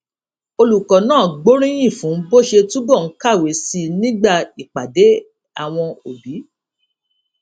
olùkó náà gbóríyìn fún bó ṣe túbò ń kàwé sí i nígbà ìpàdé àwọn òbí